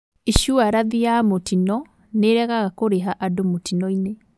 Icuarathi ya mũtino nĩiregaga kũrĩha andũ mũtinoinĩ